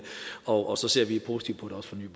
og så ser vi positivt på det også